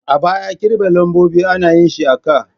A baya kirga lambobi ana yin shi a ka.